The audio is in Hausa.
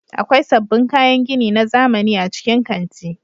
Akwai sabbin kayan gini na zamani a cikin kanti.